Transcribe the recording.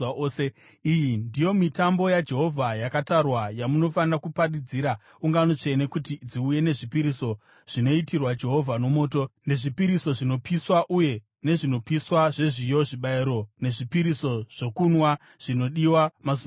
“ ‘Iyi ndiyo mitambo yaJehovha yakatarwa yamunofanira kuparidzira ungano tsvene kuti dziuye nezvipiriso zvinoitirwa Jehovha nomoto, nezvipiriso zvinopiswa uye nezvinopiswa zvezviyo, zvibayiro nezvipiriso zvokunwa zvinodiwa mazuva ose.